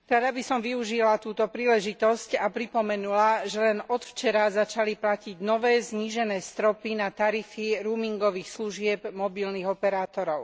Rada by som využila túto príležitosť a pripomenula, že len od včera začali platiť nové znížené stropy na tarify roamingových služieb mobilných operátorov.